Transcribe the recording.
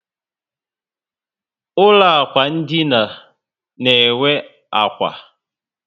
Ụlọ ákwà ndina na enwe ákwà